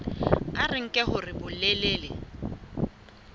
a re nke hore bolelele